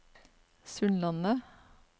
Sundlandet